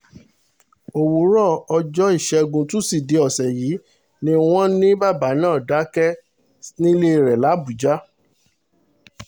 òwúrọ̀ ọjọ́ ìṣẹ́gun tusidee ọ̀sẹ̀ yìí ni wọ́n ní bàbá náà dákẹ́ nílé rẹ̀ làbújá